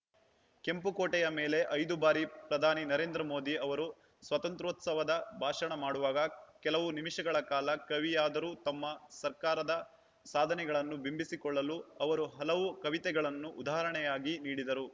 ಕೆಂಪುಕೋಟೆಯ ಮೇಲೆ ಐದುಬಾರಿ ಪ್ರಧಾನಿ ನರೇಂದ್ರ ಮೋದಿ ಅವರು ಸ್ವಾತಂತ್ರ್ಯೋತ್ಸವ ಭಾಷಣ ಮಾಡುವಾಗ ಕೆಲವು ನಿಮಿಷಗಳ ಕಾಲ ಕವಿಯಾದರು ತಮ್ಮ ಸರ್ಕಾರದ ಸಾಧನೆಗಳನ್ನು ಬಿಂಬಿಸಿಕೊಳ್ಳಲು ಅವರು ಹಲವು ಕವಿತೆಗಳನ್ನು ಉದಾಹರಣೆಯಾಗಿ ನೀಡಿದರು